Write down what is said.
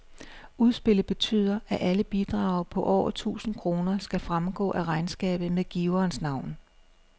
Udspillet betyder, at alle bidrag på over tusind kroner skal fremgå af regnskabet med giverens navn.